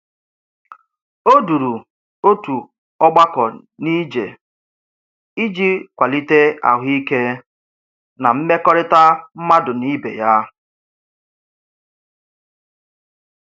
O duru otu ọgbakọ n'ije iji kwalite ahụike na mmekọrịta mmadụ na ibe ya.